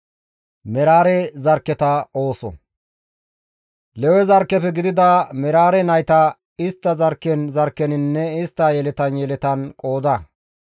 «Lewe zarkkefe gidida Meraare nayta istta zarkken zarkkeninne istta yeletan yeletan qooda.